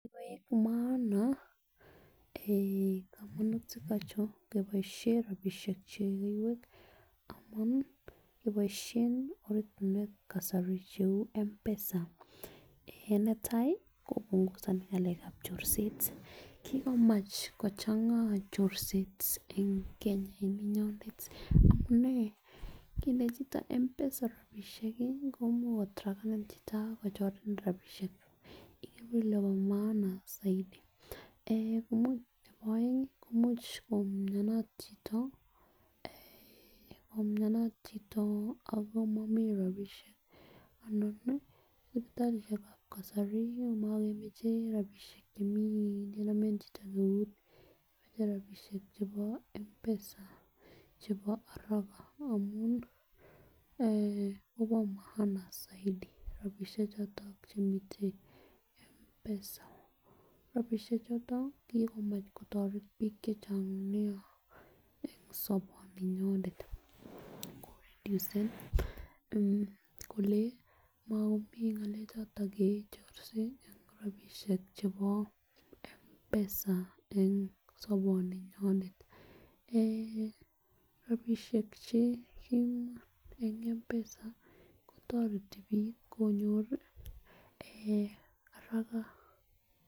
[]maana[s] en komonutik ochon keboishen rabishek chekuket amun keboishen orani en kasari che M'PESA en netai kobunhusoni ngalekab chorset kikomavh kochanga chorset en Keny en olinyonet amunee nkinde chito MPESA rabishek komuche kotrakeni chito ak kochorenin rabishek ikere kole bo maana soidi en komuche nebo eng ko imuche koumionat chito en koumianat chito omomii rabishek ana nii sipitalishekab kasari komokemoche rabishek chemeii nkenam en chito eut moche rabishek chebo M'PESA chebo araka amun en oboo maana soidi rabishek choton chemiten M'PESA . Rabishek choto kikomach kotoreti bik chechang nia en sobini nyonet ako reducecen kole mokomji ngalek choto kechorse en rabishek chebo M'PESA en soboninyonet, eh rabishek che komoi en M'PESA kotoreti bik konyor eh haraka.